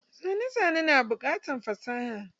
Zane zane na bukatan fasaha.